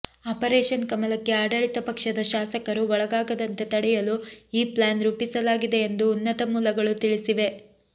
operation ಕಮಲಕ್ಕೆ ಆಡಳಿತ ಪಕ್ಷದ ಶಾಸಕರು ಒಳಗಾಗದಂತೆ ತಡೆಯಲು ಈ ಪ್ಲ್ಯಾನ್ ರೂಪಿಸಲಾಗಿದೆ ಎಂದು ಉನ್ನತ ಮೂಲಗಳು ತಿಳಿಸಿವೆ